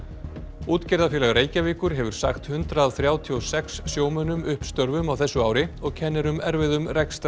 útgerðarfélag Reykjavíkur hefur sagt hundrað þrjátíu og sex sjómönnum upp störfum á þessu ári og kennir um erfiðum